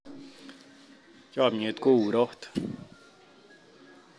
Chomiet ko urot